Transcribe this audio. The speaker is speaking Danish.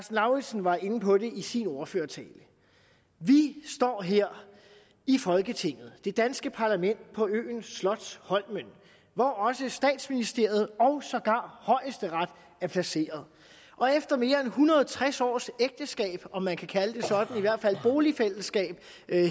lauritzen var inde på det i sin ordførertale vi står her i folketinget det danske parlament på øen slotsholmen hvor også statsministeriet og sågar højesteret er placeret og efter mere end en hundrede og tres års ægteskab om man kan kalde det sådan i hvert fald boligfællesskab